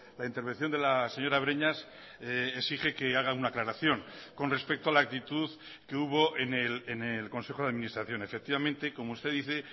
la intervención de la señora breñas exige que haga una aclaración con respecto a la actitud que hubo en el consejo de administración efectivamente como usted dice